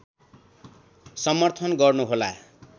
समर्थन गर्नुहोला